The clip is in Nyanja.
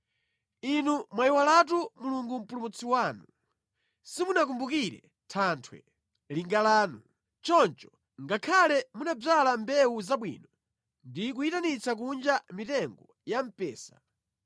Inu mwayiwalatu Mulungu Mpulumutsi wanu; simunakumbukire Thanthwe, linga lanu. Choncho, ngakhale munadzala mbewu zabwino, ndi kuyitanitsa kunja mitengo ya mpesa,